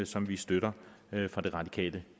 som vi støtter fra det radikale